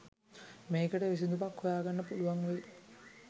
මේකට විසඳුමක් හොයාගන්න පුළුවන් වෙයි